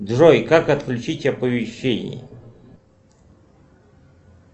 джой как отключить оповещения